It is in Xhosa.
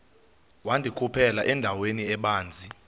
wandikhuphela endaweni ebanzi